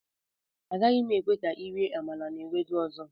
Agaghị m ekwe ka ị rie amala na Ewedu ọzọ